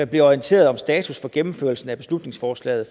blev orienteret om status for gennemførelsen af beslutningsforslaget